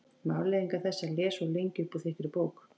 Um afleiðingar þess að lesa of lengi upp úr þykkri bók